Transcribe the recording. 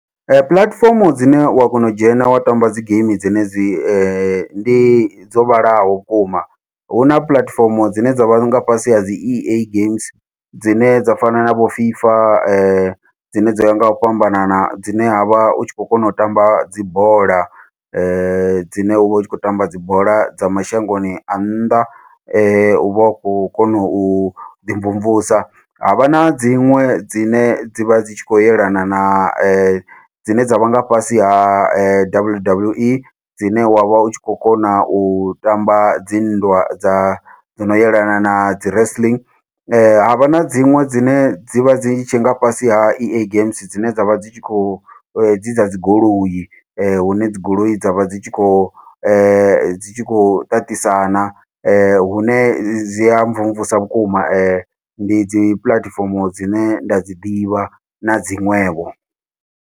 Ee puḽatifomo dzine wa kona u dzhena wa tamba dzi geimi dzenedzi ndi dzo vhalaho vhukuma, huna puḽatifomo dzine dzavha nga fhasi ha dzi E A games dzine dza fana na vho fifa dzine dzoya ngau fhambanana dzine havha utshi khou kona u tamba dzibola dzine uvha u tshi khou tamba dzi bola dza mashangoni a nnḓa, uvha u khou kona uḓi mvumvusa. Havha na dziṅwe dzine dzivha dzi tshi khou yelana na dzine dzavha nga fhasi ha W W E dzine wavha u tshi kho kona u tamba dzi nndwa dza dzino yelana nadzi wrestling, havha na dziṅwe dzine dzivha dzi tshe nga fhasi ha E A games dzine dzavha dzi tshi khou dzi dza dzi goloi hune dzi goloi dzavha dzi tshi khou dzi tshi khou ṱaṱisana hune dzi a mvumvusa vhukuma ndi dzi puḽatifomo dzine nda dzi ḓivha na dziṅwevho.